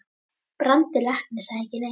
Brandur læknir sagði ekki neitt.